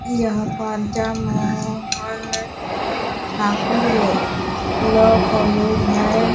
यहाँ पर Mohan Thakur law college है।